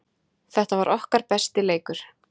Þetta var okkar besti leikur.